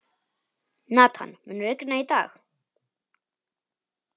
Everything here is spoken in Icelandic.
Nathan, mun rigna í dag?